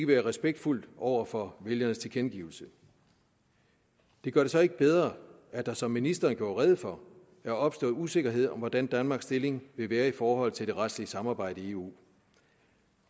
være respektfuldt over for vælgernes tilkendegivelse det gør det så ikke bedre at der som ministeren gjorde rede for er opstået usikkerhed om hvordan danmarks stilling vil være i forhold til det retslige samarbejde i eu